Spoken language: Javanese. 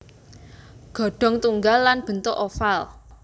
Ghodong tunggal lan bentuk oval